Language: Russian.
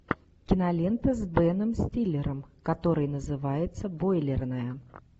кинолента с беном стиллером которая называется бойлерная